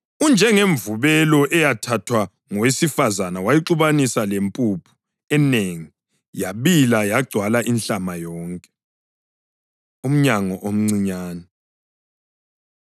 Unjengemvubelo eyathathwa ngowesifazane wayixubanisa lempuphu enengi, yabila yagcwala inhlama yonke.” Umnyango Omncinyane